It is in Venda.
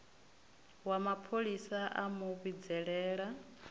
wa mapholisa a mu vhidzelela